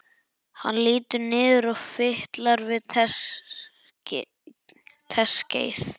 Hann lítur niður og fitlar við teskeið.